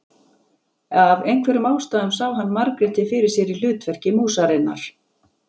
Af einhverjum ástæðum sá hann Margréti fyrir sér í hlutverki músarinnar.